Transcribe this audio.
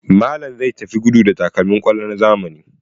Malam zai tafi gudu da takalmin kwallo na zamani.